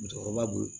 Musokɔrɔba bolo